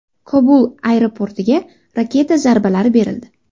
Kobul aeroportiga raketa zarbalari berildi.